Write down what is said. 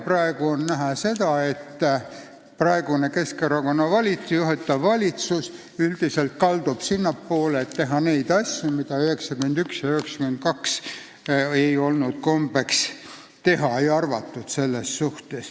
On näha, et praegune Keskerakonna juhitav valitsus üldiselt kaldub sinnapoole, et tuleks teha neid asju, mida 1992 ja hiljem ei olnud kombeks teha.